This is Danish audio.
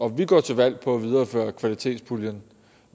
vi går til valg på at videreføre kvalitetspuljen